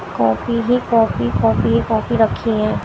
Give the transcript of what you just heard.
Coffee ही coffee coffee ही coffee रखी है।